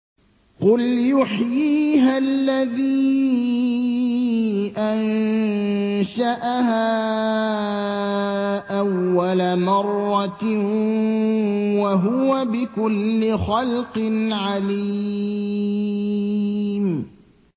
قُلْ يُحْيِيهَا الَّذِي أَنشَأَهَا أَوَّلَ مَرَّةٍ ۖ وَهُوَ بِكُلِّ خَلْقٍ عَلِيمٌ